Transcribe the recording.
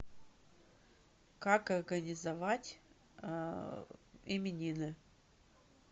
как организовать именины